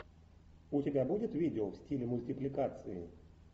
у тебя будет видео в стиле мультипликации